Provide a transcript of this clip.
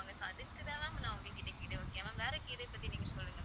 so அதுக்கு தான் ma'am நான் உங்ககிட்ட கேட்டேன். okay ma'am வேற கீரையை பத்தி நீங்க சொல்லுங்க ma'am